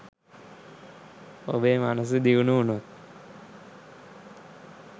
ඔබේ මනස දියුණු වුණොත්